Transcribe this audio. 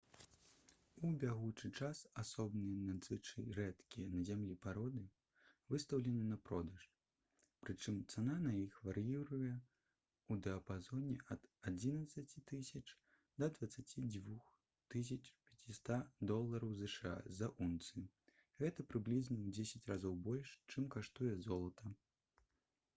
у бягучы час асобныя надзвычай рэдкія на зямлі пароды выстаўлены на продаж прычым цана на іх вар'іруе ў дыяпазоне ад 11 000 да 22 500 долараў зша за ўнцыю гэта прыблізна ў дзесяць разоў больш чым каштуе золата